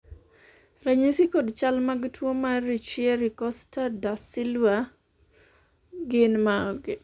ranyisi kod chal mag tuo mar Richieri Costa Da Silva gin mage?